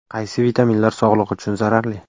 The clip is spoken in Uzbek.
Qaysi vitaminlar sog‘liq uchun zararli?.